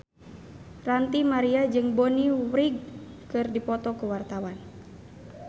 Ranty Maria jeung Bonnie Wright keur dipoto ku wartawan